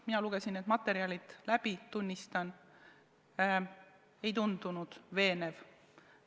Mina lugesin need materjalid läbi, tunnistan: ei tundunud veenev.